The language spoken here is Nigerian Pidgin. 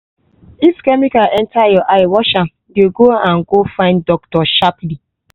if chemical enter your eye wash am dey go and go find doctor sharply